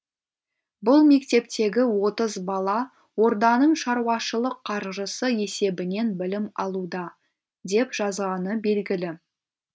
бұл мектептегі отыз бала орданың шаруашылық қаржысы есебінен білім алуда деп жазғаны белгілі